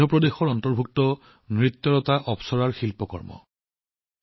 মধ্যপ্ৰদেশৰ অন্তৰ্গত এটি অপ্সৰা নৃত্যৰ কলাকৰ্ম